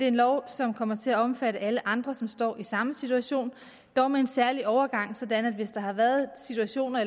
en lov som kommer til at omfatte alle andre som står i samme situation dog med en særlig overgangsordning sådan at hvis der har været situationer